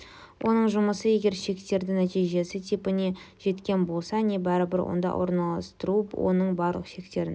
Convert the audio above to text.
оның жұмысы егер шектердің нәтижесі типіне жеткен болса не бәрібір онда орналастыру оның барлық шектерін